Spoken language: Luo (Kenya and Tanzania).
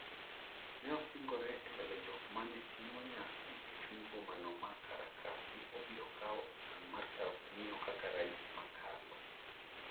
Neosingre embele jok mane timo nyasi e chuny bomano ma Caracas ni obiro kawo okang' mar tayo pinyno kaka rais makalo.